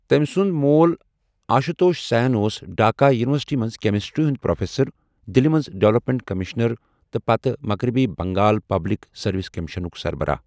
تمۍ سُند مول آشتوش سین اوس ڈھاكہ یونیورسٹی منز كیمِسٹری ہُند پروفیسر، دِلہِ منز ڈیولپمینٹ كمِشنر تہٕ پتہٕ مغربی بنگال پبلِك سروِس كمِشنُك سربراہ ۔